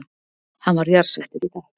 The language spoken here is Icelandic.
Hann var jarðsettur í gær